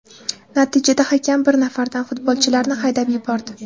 Natijada hakam bir nafardan futbolchilarni haydab yubordi.